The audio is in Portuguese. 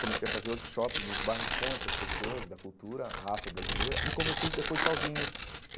Comecei a fazer workshops nos bairros com essas pessoas da cultura afro-brasileira e comecei depois sozinho.